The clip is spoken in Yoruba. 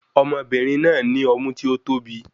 Ọmọbìnrin náà ní ọmú tí o tóbi